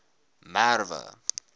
merwe